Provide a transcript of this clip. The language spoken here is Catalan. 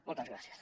moltes gràcies